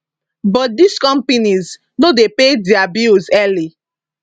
but dis companies no dey pay dia bills early